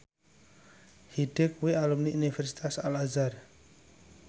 Hyde kuwi alumni Universitas Al Azhar